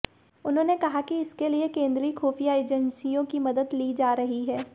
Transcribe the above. उन्होंने कहा कि इसके लिए केंद्रीय खुफिया एजेंसियों की मदद ली जा रही है